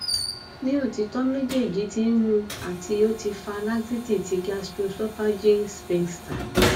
ni otitọ mejeeji ti nmu ati oti fa laxity ti gastroesophageal sphincter